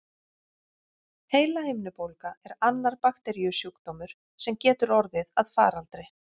Heilahimnubólga er annar bakteríusjúkdómur, sem getur orðið að faraldri.